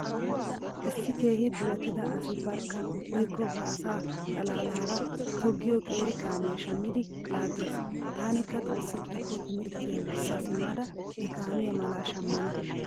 Issi keehi duretida asi barkka woykko ba asa xalaalaara toggiyo qeeri kaamiya shammidi laaggees. Taanikka xoossi giikko timirttiya wurssa simmada he kaamiya mala shammana.